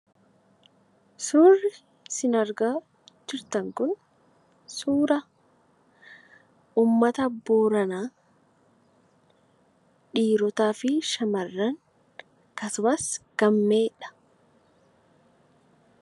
Suurri isin argaa jirtan kun suura uummata Booranaa, dhiirotaa fi shamarran akkasumas gaammeedha.